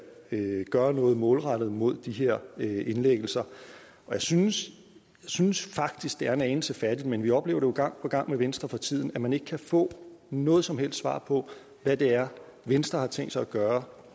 gøre noget målrettet mod de her indlæggelser jeg synes synes faktisk det er en anelse fattigt men vi oplever jo gang på gang med venstre for tiden at man ikke kan få noget som helst svar på hvad det er venstre har tænkt sig at gøre